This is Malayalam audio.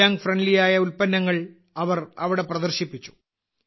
ദിവ്യാംഗ് ഫ്രണ്ട്ലി ആയ ഉൽപ്പന്നങ്ങൾ അവർ അവിടെ പ്രദർശിപ്പിച്ചു